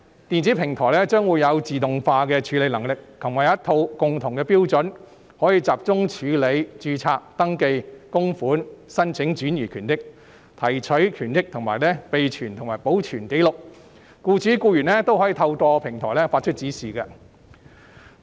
電子平台將會有自動化的處理能力及一套共同標準，可以集中處理註冊、登記、供款、申請轉移權益、提取權益，以及備存和保存紀錄，僱主和僱員都可以透過平台發出指示。